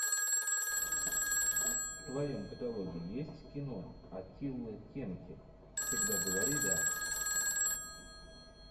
в твоем каталоге есть кино атиллы кенки всегда говори да